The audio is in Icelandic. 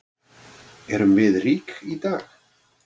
Erum við rík í dag?